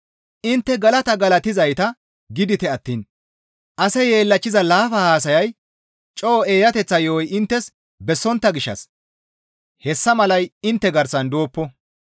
Intte galata galatizayta gidite attiin ase yeellachchiza laafa haasayay, coo eeyateththa yo7oy inttes bessontta gishshas hessa malay intte garsan dooppo.